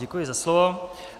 Děkuji za slovo.